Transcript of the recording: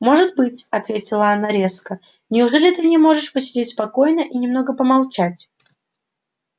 может быть ответила она резко неужели ты не можешь посидеть спокойно и немного помолчать